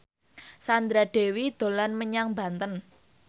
Sandra Dewi dolan menyang Banten